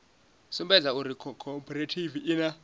sumbedza uri khophorethivi i na